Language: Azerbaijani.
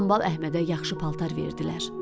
Hambal Əhmədə yaxşı paltar verdilər.